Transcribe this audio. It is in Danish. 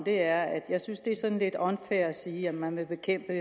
er jeg synes det er sådan lidt unfair at sige at man vil bekæmpe